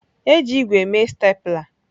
E ji ígwè mee stapler.